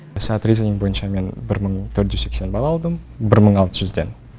сат ризинг бойынша мен бір мың төрт жүз сексен балл алдым бір мың алты жүзден